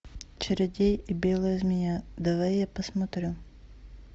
чародей и белая змея давай я посмотрю